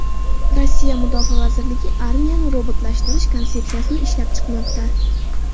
Rossiya mudofaa vazirligi armiyani robotlashtirish konsepsiyasini ishlab chiqmoqda.